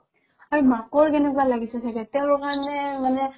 আৰু মাকৰ কেনেকুৱা লাগিছে ছাগে তেওঁৰ কাৰণে মানে